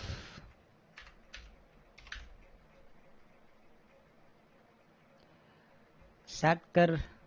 சாட்கர்